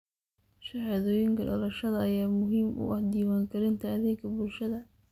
Shahaadooyinka dhalashada ayaa muhiim u ah diiwaangelinta adeegga bulshada.